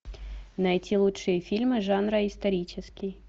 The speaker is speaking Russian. найти лучшие фильмы жанра исторический